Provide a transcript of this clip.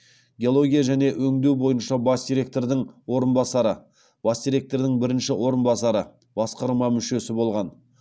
геология және өңдеу бойынша бас директордың орынбасары бас директордың бірінші орынбасары басқарма мүшесі болған